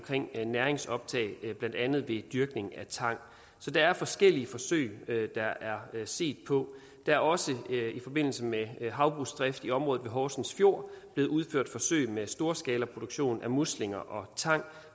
om næringsoptag blandt andet ved dyrkning af tang så der er forskellige forsøg der er set på der er også i forbindelse med havbrugsdrift i området ved horsens fjord blevet udført forsøg med storskalaproduktion af muslinger og tang